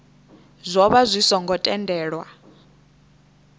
zwo vha zwi songo tendelwa